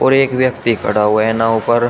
और एक व्यक्ति खड़ा हुआ है नाव पर।